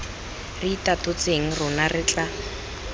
re itatotseng rona re tla